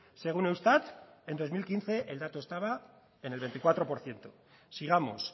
según eustat en dos mil quince el dato estaba en el veinticuatro por ciento sigamos